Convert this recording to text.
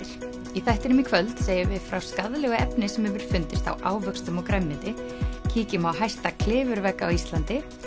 í þættinum í kvöld segjum við frá skaðlegu efni sem hefur fundist á ávöxtum og grænmeti kíkjum á hæsta klifurvegg á Íslandi